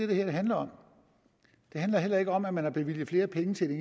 det her handler om det handler heller ikke om at man har bevilget flere penge til det